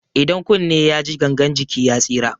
Idan kunne yaji gangan jiki ya tsira.